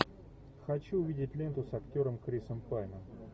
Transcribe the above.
хочу увидеть ленту с актером крисом пайном